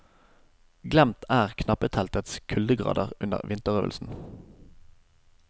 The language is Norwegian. Glemt er knappeteltets kuldegrader under vinterøvelsen.